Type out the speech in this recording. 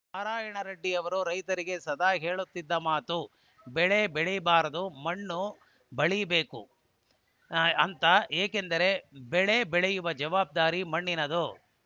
ನಾರಾಯಣ ರೆಡ್ಡಿಯವರು ರೈತರಿಗೆ ಸದಾ ಹೇಳುತ್ತಿದ್ದ ಮಾತು ಬೆಳೆ ಬೆಳೀಬಾರ್ದು ಮಣ್ಣು ಬೆಳೀಬೇಕು ಅಂತ ಏಕೆಂದರೆ ಬೆಳೆ ಬೆಳೆಯುವ ಜವಾಬ್ದಾರಿ ಮಣ್ಣಿನದು